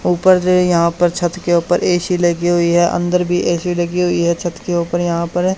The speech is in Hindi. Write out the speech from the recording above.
ऊपर जो है यहां पर छत के ऊपर ए_सी लगी हुई है अंदर भी ए_सी लगी हुई है छत के ऊपर यहां पर--